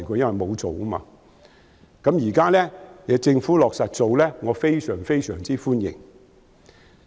現在政府落實去做，我非常歡迎。